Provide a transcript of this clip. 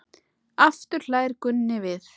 Aftur hlær Gunni við.